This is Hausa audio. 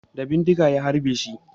Da bindiga ya harbeshi